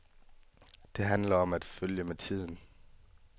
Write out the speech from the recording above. Det handler om at følge med tiden.